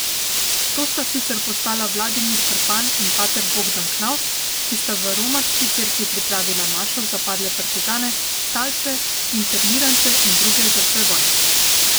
To sta sicer postala Vladimir Krpan in pater Bogdan Knavs, ki sta v romarski cerkvi pripravila mašo za padle partizane, talce, internirance in druge žrtve vojne.